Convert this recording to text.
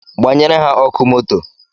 Gbanyere ha ọkụ moto